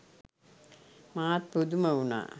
මාත් පුදුම උනා.